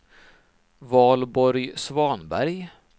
Valborg Svanberg